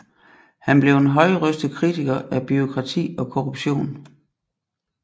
Han blev en højrøstet kritiker af bureaukrati og korruption